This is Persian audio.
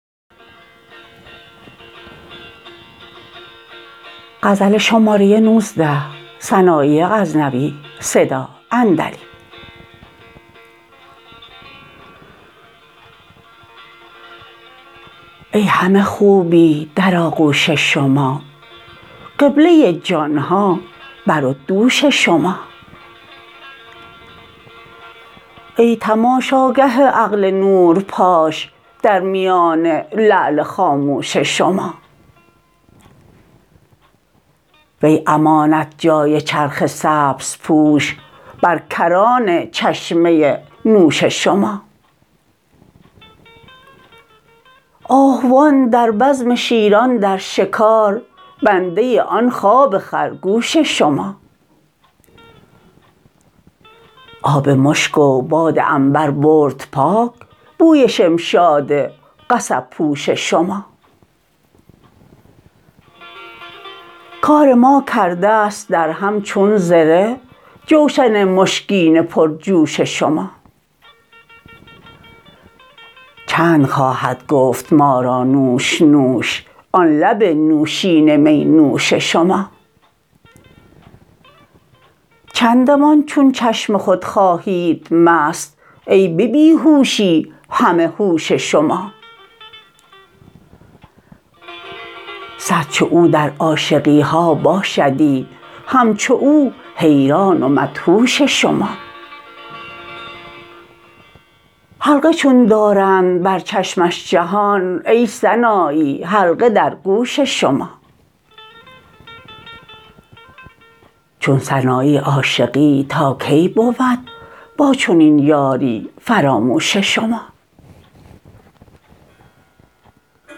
ای همه خوبی در آغوش شما قبله جان ها بر و دوش شما ای تماشاگاه عقل نور پاش در میان لعل خاموش شما وی امانت جای چرخ سبز پوش بر کران چشمه نوش شما آهوان در بزم شیران در شکار بنده آن خواب خرگوش شما آب مشک و باد عنبر برد پاک بوی شمشاد قصب پوش شما کار ما کردست در هم چون زره جوشن مشکین پر جوش شما چند خواهد گفت ما را نوش نوش آن لب نوشین می نوش شما چندمان چون چشم خود خواهید مست ای به بی هوشی همه هوش شما صد چو او در عاشقیها باشدی همچو او حیران و مدهوش شما حلقه چون دارند بر چشمش جهان ای سنایی حلقه در گوش شما چون سنایی عاشقی تا کی بود با چنین یاری فراموش شما